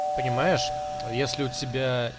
понимаешь если у тебя